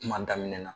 Kuma daminɛ na